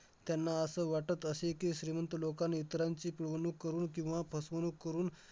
त्यांना असं वाटत असे की, श्रीमंत लोकांन इतरांची पिळवणूक करून किंवा फसवणूक करून